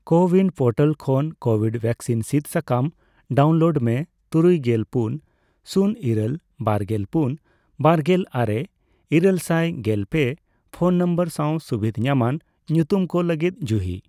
CoWIN portal ᱠᱷᱚᱱ COVID vaccine ᱥᱤᱫ ᱥᱟᱠᱟᱢ ᱰᱟᱣᱩᱱᱞᱳᱰ ᱢᱮ ᱛᱩᱨᱩᱭᱜᱮᱞ ᱯᱩᱱ ,ᱥᱩᱱ ᱤᱨᱟᱹᱞ ,ᱵᱟᱨᱜᱮᱞ ᱯᱩᱱ ,ᱵᱟᱨᱜᱮᱞ ᱟᱨᱮ ,ᱤᱨᱟᱹᱞᱥᱟᱭ ᱜᱮᱞ ᱯᱮ ᱯᱷᱚᱱ ᱱᱚᱢᱵᱚᱨ ᱥᱟᱣ ᱥᱩᱵᱤᱫᱷ ᱧᱟᱢᱟᱱ ᱧᱩᱛᱩᱢ ᱠᱚ ᱞᱟᱹᱜᱤᱫ ᱡᱩᱦᱤ ᱾